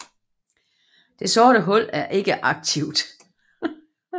Dette sorte hul er ikke aktivt